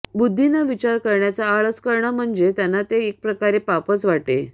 बुद्धीनं विचार करण्याचा आळस करणं म्हणजे त्यांना ते एकप्रकारे पापच वाटे